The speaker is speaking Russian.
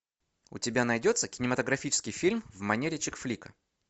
у тебя найдется кинематографический фильм в манере чик флик